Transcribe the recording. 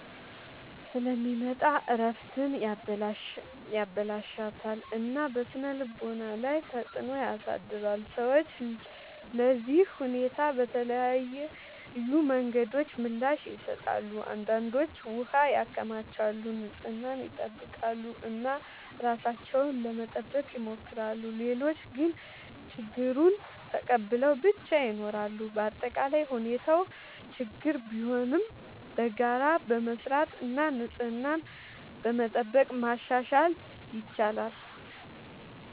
ስለሚመጣ እረፍትን ያበላሽታል እና በስነ-ልቦና ላይ ተጽዕኖ ያሳድራል። ሰዎች ለዚህ ሁኔታ በተለያዩ መንገዶች ምላሽ ይሰጣሉ። አንዳንዶች ውሃ ያከማቻሉ፣ ንጽህናን ይጠብቃሉ እና ራሳቸውን ለመጠበቅ ይሞክራሉ። ሌሎች ግን ችግኙን ተቀብለው ብቻ ይኖራሉ። በአጠቃላይ ሁኔታው ችግኝ ቢሆንም በጋራ በመስራት እና ንጽህናን በመጠበቅ ማሻሻል ይቻላል።